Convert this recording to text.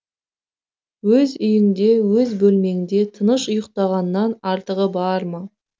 өз үйіңде өз бөлмеңде тыныш ұйықтағаннан артығы бар ма